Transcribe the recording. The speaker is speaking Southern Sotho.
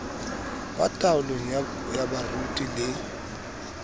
ba taolong ya baruti le